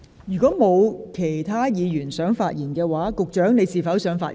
如果沒有其他議員想發言，局長，你是否想發言？